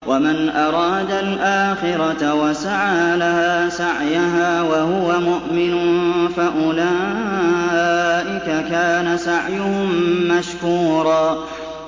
وَمَنْ أَرَادَ الْآخِرَةَ وَسَعَىٰ لَهَا سَعْيَهَا وَهُوَ مُؤْمِنٌ فَأُولَٰئِكَ كَانَ سَعْيُهُم مَّشْكُورًا